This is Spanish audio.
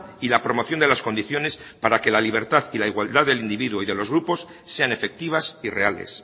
y la promoción de las condiciones para que la libertad y la igualdad del individuo y de los grupos sean efectivas y reales